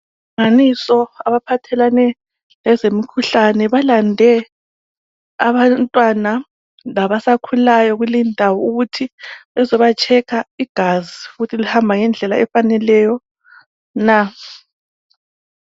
Inhlanganiso abaphathelane lezemikhuhlane balande abantwana labasakhulayo kulindawo ukuthi bezibachecker igazi ukuthi lihamba ngendlela efaneleyo na.